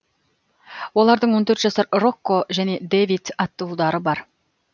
олардың он төрт жасар рокко және дэвид атты ұлдары бар